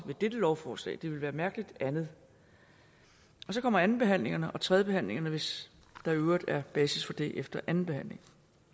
ved dette lovforslag det ville være mærkeligt andet så kommer andenbehandlingen og derefter tredjebehandlingen hvis der i øvrigt er basis for det efter andenbehandlingen